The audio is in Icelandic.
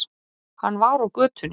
Hann var á götunni.